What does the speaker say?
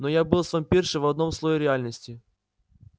но я был с вампиршей в одном слое реальности